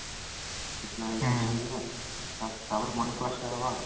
ହଁ ସରିଯିବା ତାପରେ ତାପରେ morning class ଟା ହବା